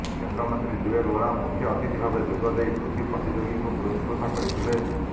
କେନ୍ଦ୍ରମନ୍ତ୍ରୀ ଜୁଏଲ ଓରାମ ମୁଖ୍ୟଅତିଥି ଭାବେ ଯୋଗଦେଇ କୃତୀ ପ୍ରତିଯୋଗୀଙ୍କୁ ପୁରସ୍କୃତ କରିଥିଲେ